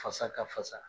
Fasa ka fasa